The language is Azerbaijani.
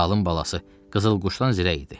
Zalım balası, qızıl quşdan zirək idi.